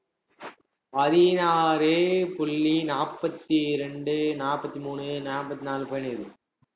பதினாறு புள்ளி நாற்பத்தி இரண்டு, நாப்பத்தி மூணு, நாப்பத்தி நாலு, போயின்னிருக்குது